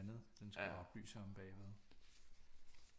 Andet den skulle oplyse omme bagved